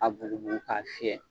A bugubugu k'a fiyɛ.